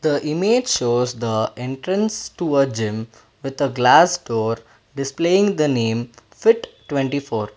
the image shows of the entrance to a gym with a glass door displaying the name fit twenty four.